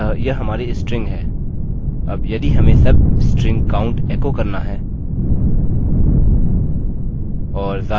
अब यदि हमें substring count एको करना है